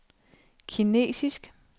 kinesisk